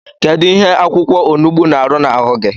Kedu ihe akwụkwọonugbu na-arụ n’ahụ gi?